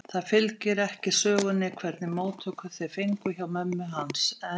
Það fylgir ekki sögunni hvernig móttökur þeir fengu hjá mömmu hans, en